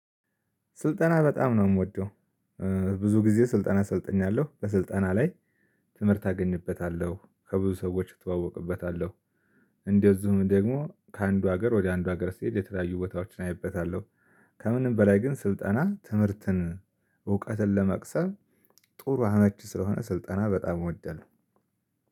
ስልጠና በጣም ነው የምወደው እ ብዙ ጊዜ ስልጠና ሰልጥኛለሁ በስልጠና ላይ ትምህርት አገኝበታለሁ ከብዙ ሰዎች እተዋወቅበታለሁ። እንደዚሁም ደግሞ ከአንዱ ሀገር ወደ አንዱ ሀገር ስሄድ የተለያዩ ቦታዎችን አይበታለሁ። ከምንም በላይ ግን ስልጠና ትምህርትን እውቀትን ለመቅሰም ጥሩ አመቺ ስለሆነ ስልጠና በጣም እወዳለሁ።